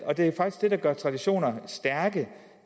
der gør traditioner stærke